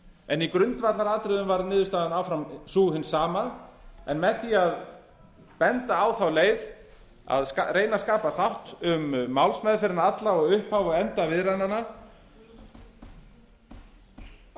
en í grundvallaratriðum varð niðurstaðan áfram sú hin sama en með því að benda á þá leið að reyna að skapa þátt um málsmeðferðina alla og upphaf og enda viðræðnanna að